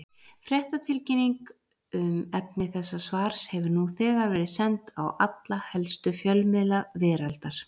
Fréttatilkynning um efni þessa svars hefur nú þegar verið send á alla helstu fjölmiðla veraldar.